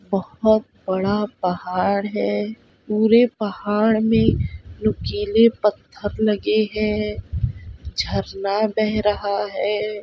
बहोत बड़ा पहाड़ है पूरे पहाड़ में नुकीले पत्थर लगे हैं झरना बह रहा है।